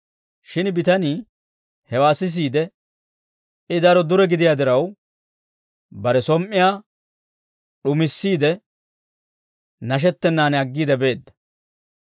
Shin bitanii hewaa sisiide, I daro dure gidiyaa diraw, bare som"iyaa d'umissiide, nashettennan aggiide beedda.